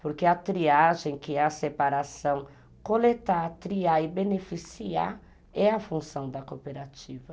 Porque a triagem, que é a separação, coletar, triar e beneficiar é a função da cooperativa.